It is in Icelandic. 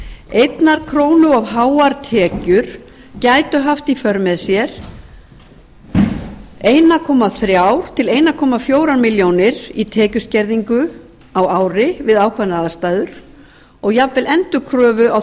einnar krónu of háar tekjur gætu haft í för með sér þrettán hundruð til fjórtán hundruð þúsund krónur tekjuskerðingu á ári við ákveðnar aðstæður og jafnvel endurkröfu á